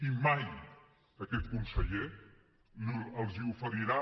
i mai aquest conseller els oferirà